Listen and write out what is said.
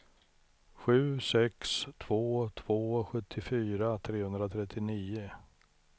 sju sex två två sjuttiofyra trehundratrettionio